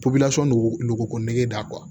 dogo nogoko nɛgɛge da